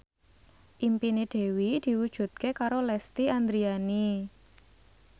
impine Dewi diwujudke karo Lesti Andryani